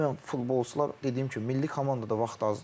Ümumən futbolçular dediyim kimi milli komandada vaxt azdır.